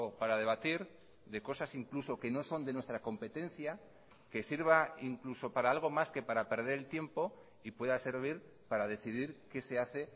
para debatir de cosas incluso que no son de nuestra competencia que sirva incluso para algo más que para perder el tiempo y pueda servir para decidir qué se hace